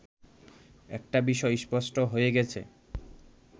একটা বিষয় স্পষ্ট হয়ে গেছে